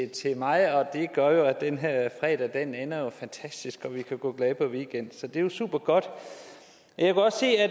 til mig og det gør jo at den her fredag ender fantastisk og vi kan gå glade på weekend så det er jo supergodt jeg